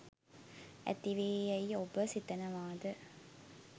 ඇති වේ යැයි ඔබ සිතනවාද?